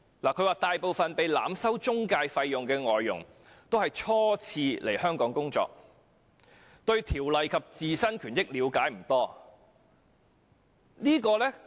他表示大部分被濫收中介費的外傭均是初次來港工作，對相關條例及自身權益了解不多。